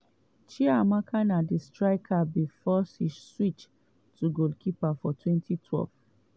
chiamaka na striker before she switch to goalkeeper for 2012.